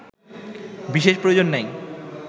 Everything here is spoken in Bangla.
বিশেষ প্রয়োজন নাই